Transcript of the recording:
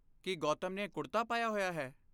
ਕੀ ਗੌਤਮ ਨੇ ਕੁੜਤਾ ਪਾਇਆ ਹੋਇਆ ਹੈ?